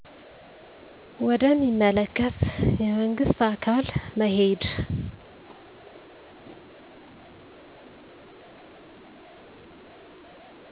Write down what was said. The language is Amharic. ወደ ሚመለከተ የመንግስት አካል መሄድ